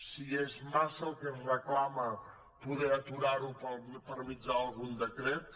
si és massa el que es reclama poder aturar ho per mitjà d’algun decret